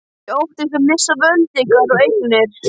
Þið óttist að missa völd ykkar og eignir.